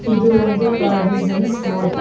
ಇದು ಒಂದು provision store .